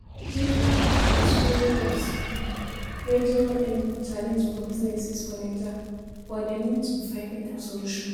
Network issues follow for um major um challenge for businesses for Naija, but dem need to find beta solution.